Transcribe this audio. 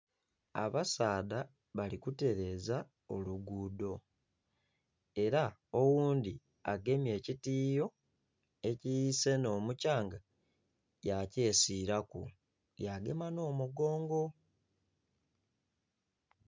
Abasaadha bali kutereza oluguudo era oghundhi agemye ekitiyo ekisena omuthyanga ya kyesiraku yagema n'omugongo.